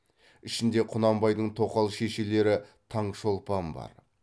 ішінде құнанбайдың тоқал шешелері таңшолпан бар